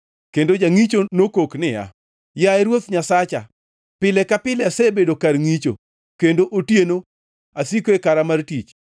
Kendo jangʼicho nokok niya, “Yaye Ruoth Nyasacha pile ka pile asebedo kar ngʼicho, kendo otieno asiko e kara mar tich.